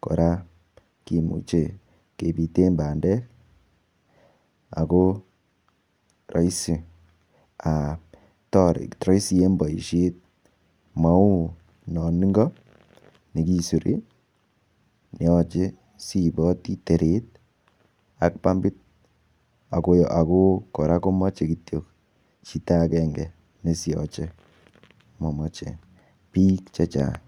kora kimuchei kebiten pandek ako raisi en boishet mau non ingo nekisupi neyoche siipoti teret ak pumbit ako kora koyoche kityo chito akenge neisioche mamoche biik chechang